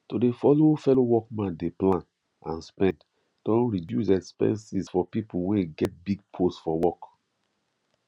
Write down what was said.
to dey follow fellow workman dey plan and spend don reduce exepenses for people wey get big post for work